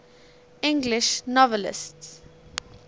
english novelists